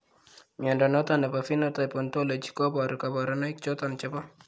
Mnyondo noton nebo Phenotype Ontology koboru kabarunaik choton chebo